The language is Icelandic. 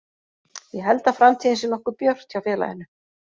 Ég held að framtíðin sé nokkuð björt hjá félaginu.